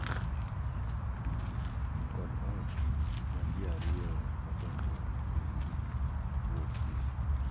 Kod ot ma ji ariyo madonjo e kenygi wuokyie.